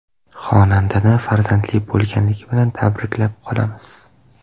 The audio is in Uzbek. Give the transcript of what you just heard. Xonandani farzandli bo‘lgani bilan tabriklab qolamiz.